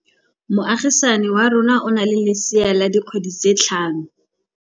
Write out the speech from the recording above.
Moagisane wa rona o na le lesea la dikgwedi tse tlhano.